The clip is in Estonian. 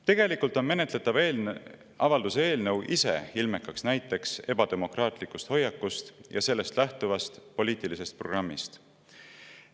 Tegelikult on menetletav avalduse eelnõu ise ilmekaks näiteks ebademokraatlikust hoiakust ja sellest lähtuvast poliitilisest programmist.